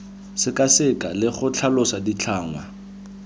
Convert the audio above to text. sekaseka le go tlhalosa ditlhangwa